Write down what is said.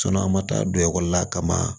an ma taa don ekɔli la kama